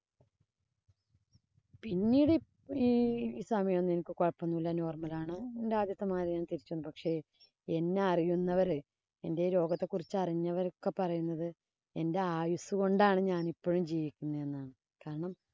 പിന്നീടു ഈ സമയം ഒന്നും എനിക്ക് കൊഴപ്പം ഒന്നുമില്ല. normal ആണ്. എന്‍റെ ആദ്യത്തെ മാതിരി ഞാന്‍ തിരിച്ചു വന്നു. പക്ഷേ എന്നെ അറിയുന്നവര് എന്‍റെ രോഗത്തെ കുറിച്ച് അറിഞ്ഞവരൊക്കെ പറയുന്നത് എന്‍റെ ആയുസ് കൊണ്ടാണ് ഞാനിപ്പോഴും ജീവിക്കുന്നത് എന്നാണ്. കാരണം,